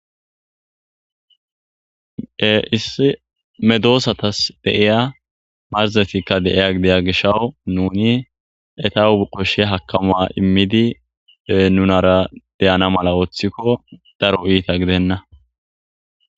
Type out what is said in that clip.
issi medoosatas deiya marzetikka deiya gideya gishawu nuni etahu qoshshe hakamaa immidi nunara deyana mala wooththikko daro iita gidenna